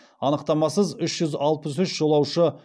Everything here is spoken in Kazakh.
анықтамасыз үш жүз алпыс үш жолаушы ұшып келген